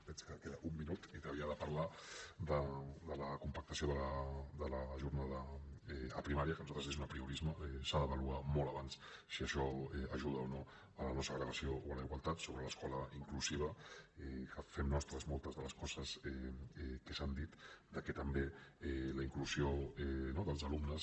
veig que queda un minut i havia de parlar de la compactació de la jornada a primària que per nosaltres és un apriorisme s’ha d’avaluar molt abans si això ajuda o no la no segregació o la igualtat sobre l’escola inclusiva que fem nostres moltes de les coses que s’han dit que també la inclusió dels alumnes